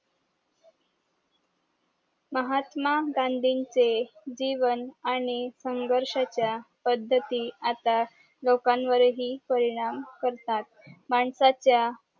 महात्मा गांधीचे जीवन आणि संघर्ष च्या पद्धती आता लोकांवर हि परिणाम करतात माणसाच्या